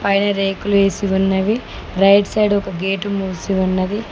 పైన రేకులు వేసి ఉన్నవి రైట్ సైడ్ ఒక గేటు మూసీ ఉన్నది.